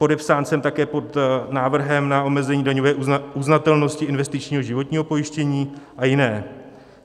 Podepsán jsem také pod návrhem na omezení daňové uznatelnosti investičního životního pojištění a jiné.